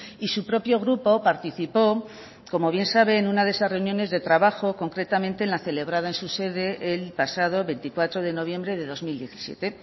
y su propio grupo participó como bien sabe en una de esas reuniones de trabajo concretamente en la celebrada en su sede el pasado veinticuatro de noviembre de dos mil diecisiete